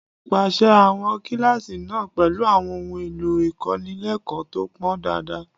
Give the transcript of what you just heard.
Pèsè àwọn kíláàsì náà pẹ̀lú àwọn ohun èlò ìkọ́nilẹ́kọ̀ọ́ tó pọn dandan